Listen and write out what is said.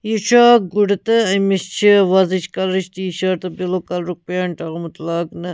یہِ چُھ اکھ گُڈٕتہٕ أمِس چھ وۄزٕچ کلرٕچ ٹی شٲٹ تہٕ بِلوٗ .کلرُک پینٹ آمُت لاگنہٕ